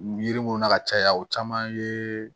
Yiri mun na ka caya o caman ye